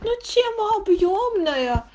зачем объёмное